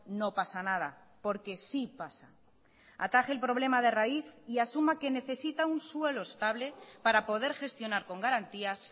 no pasa nada porque sí pasa ataje el problema de raíz y asuma que necesita un suelo estable para poder gestionar con garantías